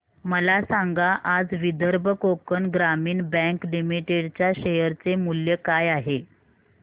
मला सांगा आज विदर्भ कोकण ग्रामीण बँक लिमिटेड च्या शेअर चे मूल्य काय आहे